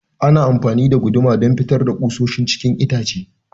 Ana amafani da guduma don fitar da kusoshi cikin itace.